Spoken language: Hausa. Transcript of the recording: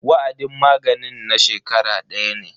Wa'adin maganin na shekara daya ne.